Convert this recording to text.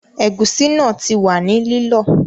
Ẹ̀gúsí náà ti wà ní lílọ